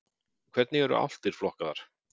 Hvernig eru álftir flokkaðar?